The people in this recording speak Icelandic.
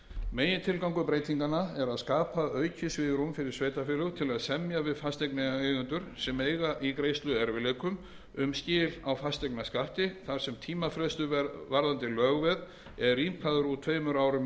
megintilgangur breytingarinnar er að skapa aukið svigrúm fyrir sveitarfélög til að semja við fasteignaeigendur sem eiga í greiðsluerfiðleikum um skil á fasteignaskatti þar sem tímafrestur varðandi lögveðið er rýmkaður úr tveimur árum í